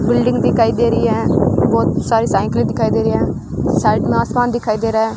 Building दिखाई दे रही है बहुत सारी साइकिल दिखाई दे रही है साइड में आसमान दिखाई दे रहा है।